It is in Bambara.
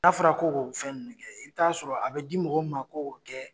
N'a fɔra ko k'o fɛn ninnu kɛ i bi t'a sɔrɔ a bi mɔgɔ min ma ko k'o kɛ